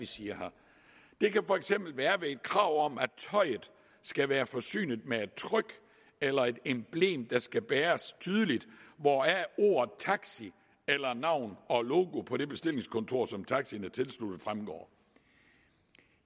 siger der kan for eksempel være et krav om at tøjet skal være forsynet med et tryk eller et emblem der skal bæres tydeligt hvoraf ordet taxi eller navn og logo på det bestillingskontor som taxien er tilsluttet fremgår